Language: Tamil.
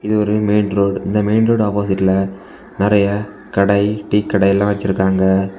இது ஒரு மெயின் ரோடு இந்த மெயின் ரோடு ஆப்போசிட்ல நிறைய கடை டீ கடைல்லா வெச்சிருக்காங்க.